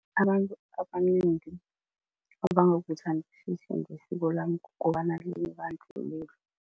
Abantu abanengi abangakuthandisisi ngesiko lami kukobana linebandlululo.